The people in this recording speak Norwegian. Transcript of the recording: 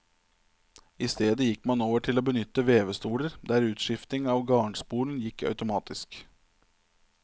I stedet gikk man over til å benytte vevestoler der utskifting av garnspolen gikk automatisk.